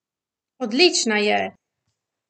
Odlična je!